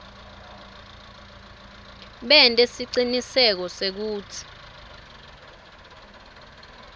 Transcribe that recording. bente siciniseko sekutsi